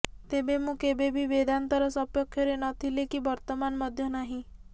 ତେବେ ମୁଁ କେବେ ବି ବେଦାନ୍ତର ସପକ୍ଷରେ ନ ଥିଲି କି ବର୍ତ୍ତମାନ ମଧ୍ୟ ନାହିଁ